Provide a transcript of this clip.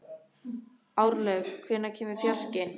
Árlaug, hvenær kemur fjarkinn?